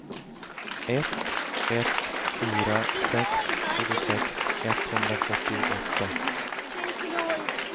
ett ett fyra sex tjugosex etthundrafyrtioåtta